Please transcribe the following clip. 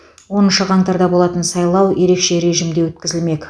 оныншы қаңтарда болатын сайлау ерекше режимде өткізілмек